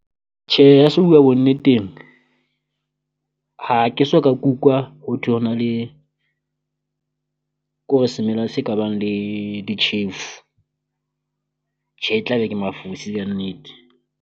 Tjhe ha se buwa bonneteng ha ke so ka kukwa ho thwe ho na le kore semela se ka bang le ditjhefu, tje e tla be ke mafosi kannete.